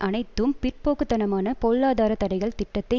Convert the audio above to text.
அனைத்தும் பிற்போக்கு தனமான பொருளாதார தடைகள் திட்டத்தை